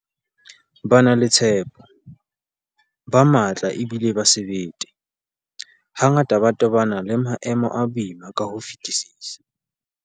Ba na le tshepo, ba matla ebile ba sebete, hangata ba tobana le maemo a boima ka ho fetisisa.